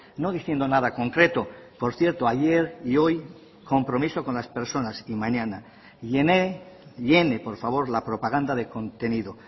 no diciendo nada concreto por cierto ayer y hoy compromiso con las personas y mañana llene por favor la propaganda de contenido